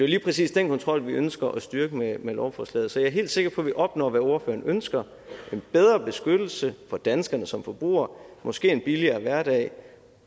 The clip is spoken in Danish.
lige præcis den kontrol vi ønsker at styrke med med lovforslaget så jeg er helt sikker på at vi opnår hvad ordføreren ønsker en bedre beskyttelse af danskerne som forbrugere måske en billigere hverdag